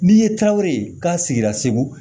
N'i ye tawiri ye k'a sigira segu